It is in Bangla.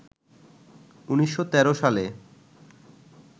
১৯১৩ সালে